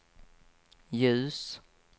ljus